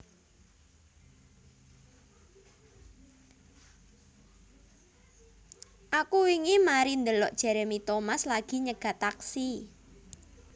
Aku wingi mari ndelok Jeremy Thomas lagi nyegat taksi